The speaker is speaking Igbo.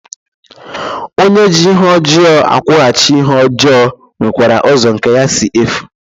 Onye ji ihe ojoo akwughachi ihe ojoo nwekwara uzo nke ya si efu.